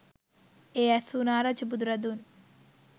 එය ඇසූ නා රජු බුදුරදුන්